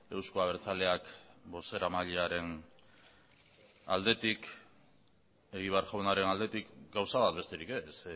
euzko abertzaleak bozeramailearen aldetik egibar jaunaren aldetik gauza bat besterik ez